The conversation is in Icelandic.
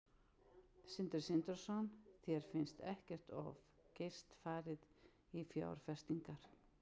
Sindri Sindrason: Þér finnst ekkert of geyst farið í fjárfestingar?